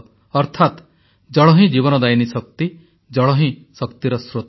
ଅର୍ଥାତ୍ ଜଳ ହିଁ ଜୀବନଦାୟିନୀ ଶକ୍ତି ଜଳ ହିଁ ଶକ୍ତିର ସ୍ରୋତ